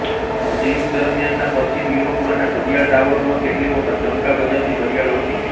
મધ્ય યુગ દરમ્યાનના પશ્ચિમ યુરોપમાંના ઘડિયાળટાવરોમાં કેટલીક વખત ડંકા બજાવતી ઘડિયાળો હતી